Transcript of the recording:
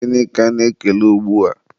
gịnị ka ana-ekele ugbua?